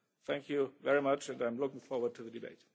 Thank you very much, and I am looking forward to the debate.